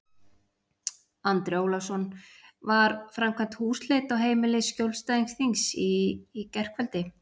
Andri Ólafsson: Var framkvæmd húsleit á heimili skjólstæðings þíns í gærkvöldi?